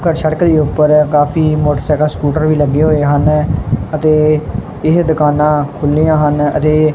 ਘੱਰ ਸੜਕ ਦੇ ਹੀ ਊਪਰ ਹੈ ਕਾਫੀ ਮੋਟਰਸਾਈਕਲ ਸਕੂਟਰ ਵੀ ਲੱਗੇ ਹੋਏ ਹਨ ਅਤੇ ਏਹ ਦੁਕਾਨਾਂ ਖੁੱਲ੍ਹੀਆਂ ਹਨ ਅਤੇ--